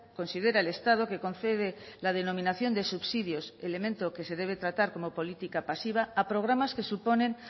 considera el estado que concede la denominación de subsidios elemento que se debe tratar como política pasiva a programas que suponen